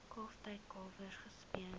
kalftyd kalwers gespeen